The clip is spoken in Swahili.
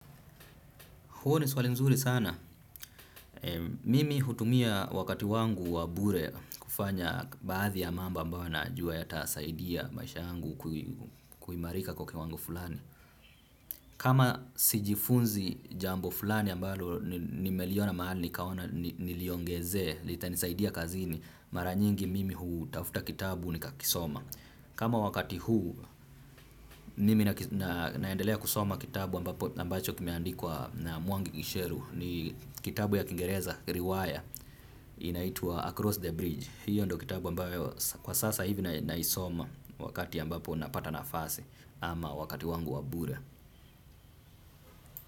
Huo ni swali nzuri sana. Mimi hutumia wakati wangu wabure kufanya baadhi ya mambo ambayo nayajua ya tasaidia maisha yangu kuimarika kwa kiwango fulani. Kama sijifunzi jambo fulani ambalo nimeliona mahali nikaona niliongeze, lita nisaidia kazini, mara nyingi mimi huu tafuta kitabu ni kakisoma. Kama wakati huu, nimi naendelea kusoma kitabu ambacho kimeandikulwa na mwangi gisheru. Ni kitabu ya Kingereza, riwata inaitwa Across the Bridge. Hiyo ndo kitabu ambayo kwa sasa hivi na isoma wakati ambapo napata na fasi ama wakati wangu wabure.